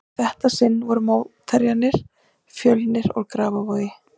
Í þetta sinn voru mótherjarnir Fjölnir úr Grafarvogi.